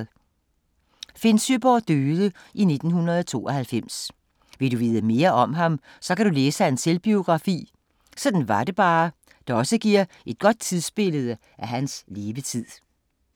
Finn Søeborg døde i 1992. Vil du vide mere om ham, så kan du læse hans selvbiografi "Sådan var det bare", der også giver et godt tidsbillede af hans levetid.